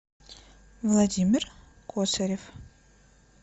владимир косарев